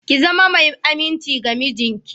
Ki zama mai aminci ga mijinki